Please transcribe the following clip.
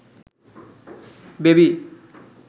baby